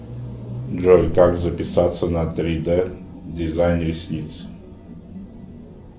джой как записаться на три д дизайн ресниц